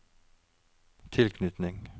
tilknytning